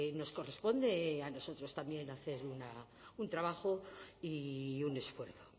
nos corresponde a nosotros también hacer un trabajo y un esfuerzo